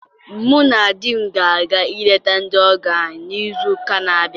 Mụ na di m ga-aga ileta ndị ọgọ anyị n'izu ụka na abịa